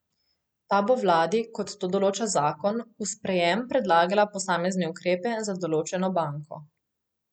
Ta bo vladi, kot to določa zakon, v sprejem predlagala posamezne ukrepe za določeno banko.